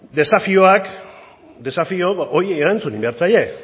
desafioak desafio horiei erantzun egin behar zaie